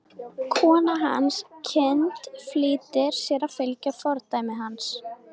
Kona hans, Hind, flýtir sér að fylgja fordæmi hans.